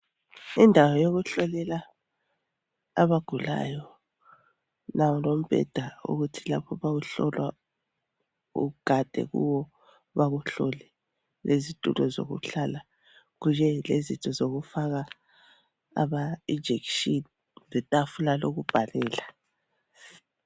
Indawo yokuhlolela abagulayo. Nanku lombheda ukuthi lapho ma uhlolwa ugade kuwo bakuhlole lezitulo zokuhlala kunye lezinto zokufaka injection letafula kokubhalela.